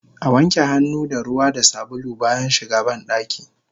Awanke hannu da ruwa da sabulu bayan shiga bandaki